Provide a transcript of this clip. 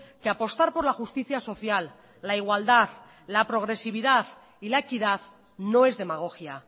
que apostar por la justicia social la igualdad la progresividad y la equidad no es demagogia